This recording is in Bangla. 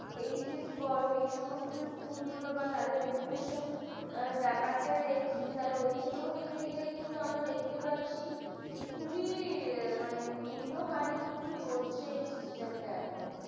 hs বলো, এই সমস্ত স্কুল বা তাদের education ব্যাপারটা দেখি তাতে ওইখানে দেখতে গেলে আমরা দেখতে পাচ্ছি যে খুবই মানে নিম্ন হারে চলছে system এখন।